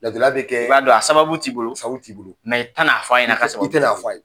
Laadiriya bɛ kɛ,i b'a don a sababu t'i bolo a, a sababu t'i bolo, i tɛ n'a fɔ a ɲɛna k'a sababu t'i bolo, i tɛ n'a fɔ a ye.